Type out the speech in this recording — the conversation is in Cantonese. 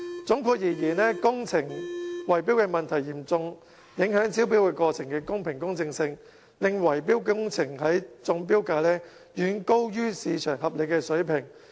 總括而言，工程圍標問題嚴重影響招標過程的公平公正，令維修工程的中標價遠高於市場合理水平。